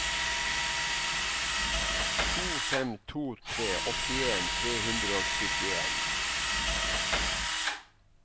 to fem to tre åttien tre hundre og syttien